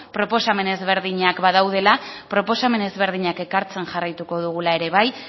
proposamen ezberdinak badaudela proposamen ezberdinak ekartzen jarraituko dugula ere bai